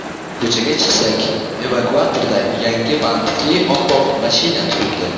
Ko‘chaga chiqsak, evakuatorda yangi bantikli oppoq mashina turibdi.